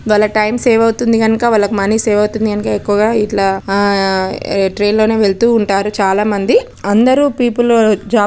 వాళ్ళ time save అవుతుంది గనక వాళ్లకి మనీ సేవ్ అవుతున్నాయి గనక ఎక్కువగా ఇట్లా ఆ ట్రైన్ లోనే వెళ్తూ ఉంటారు చాలా మంది. అందరూ పీపుల్ జాబ్ --